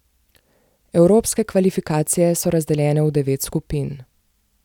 Evropske kvalifikacije so razdeljene v devet skupin.